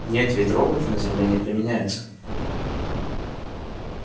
нет ведь роботы на земле не применяются